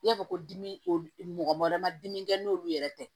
I y'a fɔ ko dimi o mɔgɔ wɛrɛ ma dimi kɛ n'olu yɛrɛ tɛ